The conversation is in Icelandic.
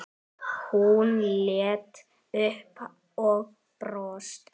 Hún leit upp og brosti.